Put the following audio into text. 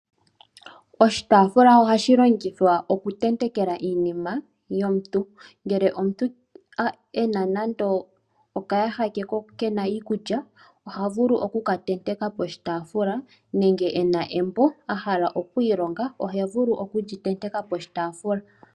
Oshitaafula ohashi longithwa okutetenkwa iinima yomuntu. Ngele omuntu ena nando okayaha ke kena iikulya , oha vulu okukatenteka poshitaafula nenge ena embo ahala okwiilonga oheli tenteke poshitaafula.